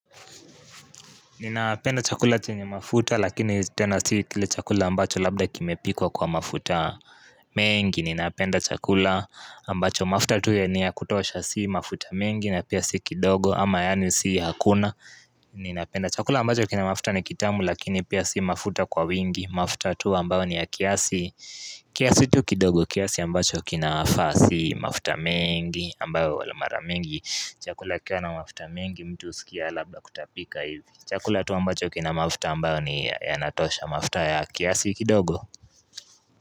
Ninapenda chakula chenye mafuta lakini tena sii kile chakula ambacho labda kimepikwa kwa mafuta mengi ninapenda chakula ambacho mafuta tuye niya kutosha sii mafuta mengi na pia si kidogo ama yani sii hakuna ninapenda chakula ambacho kina mafuta ni kitamu lakini pia sii mafuta kwa wingi mafuta tu ambayo ni ya kiasi kiasi tu kidogo kiasi ambacho kinafaa sii mafuta mengi ambayo wala mara mengi Chakula kiwa na mafuta mingi mtu usikia labda kutapika hivi Chakula tu ambacho kina mafuta ambayo ni ya natosha mafuta ya kiasi kidogo.